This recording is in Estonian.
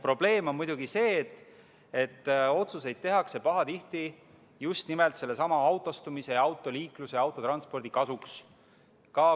Probleem on muidugi see, et otsuseid tehakse pahatihti just nimelt sellesama autostumise ja autoliikluse, autotranspordi kasuks.